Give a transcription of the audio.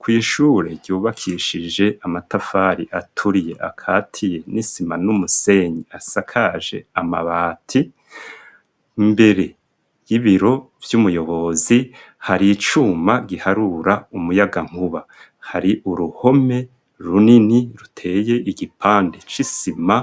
Kw'ishure ryubakishije amatafari aturiye akatiye n'isima n'umusenyi asakaje amabati, imbere y'ibiro vy'umuyobozi hari icuma giharura umuyagankuba, hari uruhome runini ruteye igipande c'isima